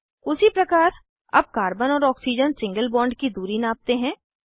उसी प्रकार अब कार्बन और ऑक्सीजन सिंगल बॉन्ड की दूरी नापते हैं